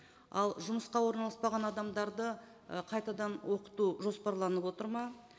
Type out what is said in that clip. ал жұмысқа орналаспаған адамдарды ы қайтадан оқыту жоспарланып отыр ма